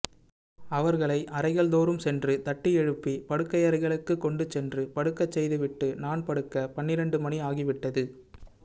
அவர்களை அறைகள் தோறும் சென்று தட்டி எழுப்பி படுக்கையறைகளுக்குக் கொண்டுசென்று படுக்கச்செய்து விட்டு நான் படுக்க பன்னிரண்டு மணி ஆகிவிட்டது